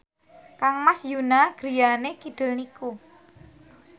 kangmas Yoona griyane kidul niku